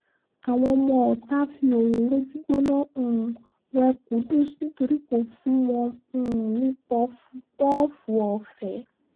àwọn ọmọọ̀ta fi òróró gbígbóná um wé qudus nítorí kò fún wọn um ní pọ̀fúpọ́ọ̀fù ọ̀fẹ́